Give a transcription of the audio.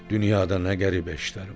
Dünyada nə qəribə işlər var!